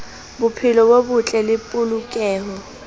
bophelo bo botle le polokeho